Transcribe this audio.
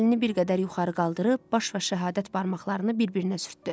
Əlini bir qədər yuxarı qaldırıb, baş barmağı ilə şəhadət barmaqlarını bir-birinə sürtdü.